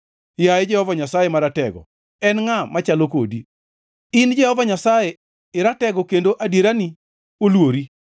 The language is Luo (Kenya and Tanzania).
Yaye Jehova Nyasaye Maratego en ngʼa machalo kodi? In Jehova Nyasaye iratego kendo adierani olwori.